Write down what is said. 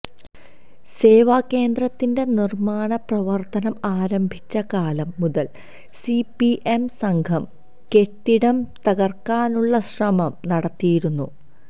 സേവാകേന്ദ്രത്തിന്റെ നിര്മ്മാണ പ്രവര്ത്തനം ആരംഭിച്ച കാലം മുതല് സിപിഎം സംഘം കെട്ടിടം തകര്ക്കാനുള്ള ശ്രമം നടത്തിയിരുന്നു